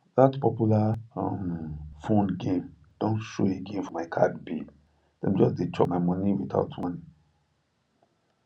that popular um phone game don show again for my card bill dem just dey chop my money without warning